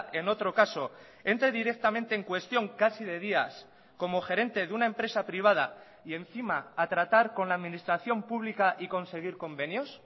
en otro caso entre directamente en cuestión casi de días como gerente de una empresa privada y encima a tratar con la administración pública y conseguir convenios